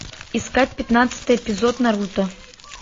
искать пятнадцатый эпизод наруто